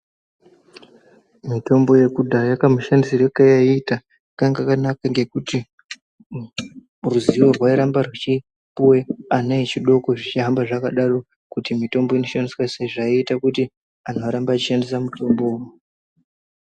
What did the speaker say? Mutombo yekudhaya kamushandisirwe kwayaita kanga kangakakanaka ngekuti ruzivo rwairamba rweputation vana vachidoko zvihamba zvakadaro kuti mutombo inoshandiswa sei zvairamba zvichita kuti vandu varambe veishandisa mutombo .